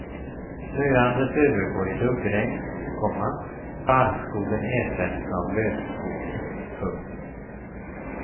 Snöandet övergår i duggregn, komma barrskogen ersätts av lövskog. punkt